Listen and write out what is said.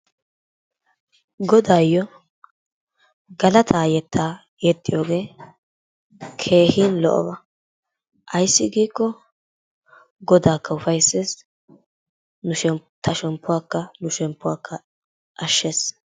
Godaayyo galataa yettaa yexxiyogee keehin lo'oba. Ayssi giikko Godaakka ufayssees, ta shemppuwakka nu shemppuwakka ashshees.